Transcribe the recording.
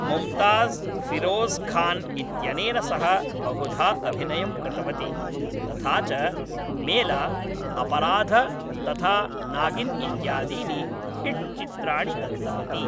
मुम्ताज़्, फ़िरोज़् खान् इत्यनेन सह बहुधा अभिनयं कृतवती, तथा च मेला, अपराध तथा नागिन् इत्यादीनि हिट्चित्राणि दत्तवती।